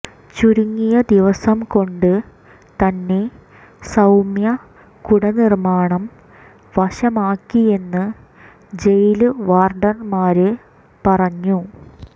് ചുരുങ്ങിയ ദിവസം കൊണ്ട് തന്നെ സൌമ്യ കുട നിര്മാണം വശമാക്കിയെന്ന് ജയില് വാര്ഡന്മാര് പറഞ്ഞു